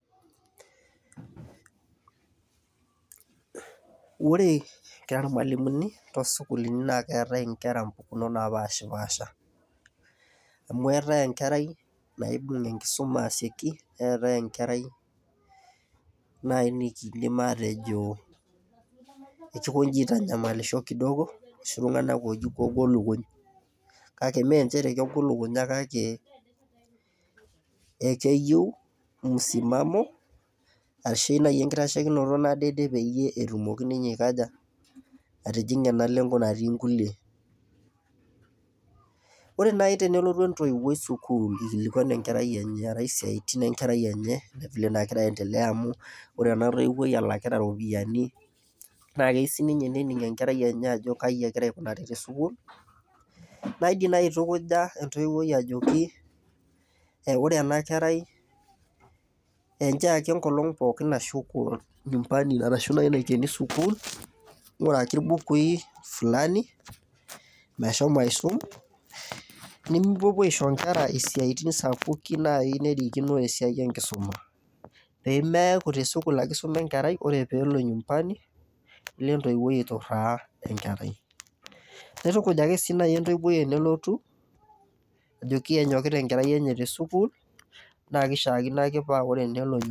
Ore kira irmwalimuni naa keetae inkera impukunot naapashpasha . Amu eetae enkerai naibung enkisuma asioki , neetae enkerai nai nikindim atejo kejo aitanyamalisho kidogo loshi tunganak loji kegol lukuny. Kake mme nchere kegol lukunya kake ekeyieu musimamo ashu naji enkitashekinoto nadede peyie etumoki ninye aikaja , atijinga ena lengo natii nkulie. Ore nai tenelotu entoiwuoi sukuul ikilikwanu enkerai enye, arake siatin enkerai enye vile nagira aendelea , amu ore ena toiwuoi elakita ropiyiani naa keyieu sininye nening enkerai enye ajo kaji egira aikunari te sukuul . Naa indim naji aitukuja entoiwuoi ajoki ore ena kerai ,enchoo ake enkolong pookin nashuko nyumbani arashu nai naikieni sukuul , nguraki mbukui fulani meshomo aisum. NImipuopuo aisho inkera isiatin sapukin nai naidim nerikino esiai enkisuma , pemeaku te sukuul ake isuma enkerai , ore pelo nyumbani, nelo entoiwuoi aituraa enkerai . Nitukuj si nai entoiwuoi tenelotu ajoki enyokita enkerai enye te sukuul naa kishaakino ake paa tenelo ny.